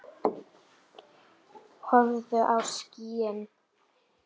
Horfðu á skýin.